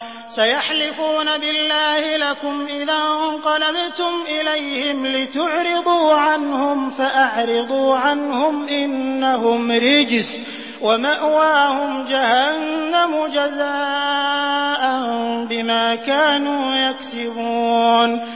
سَيَحْلِفُونَ بِاللَّهِ لَكُمْ إِذَا انقَلَبْتُمْ إِلَيْهِمْ لِتُعْرِضُوا عَنْهُمْ ۖ فَأَعْرِضُوا عَنْهُمْ ۖ إِنَّهُمْ رِجْسٌ ۖ وَمَأْوَاهُمْ جَهَنَّمُ جَزَاءً بِمَا كَانُوا يَكْسِبُونَ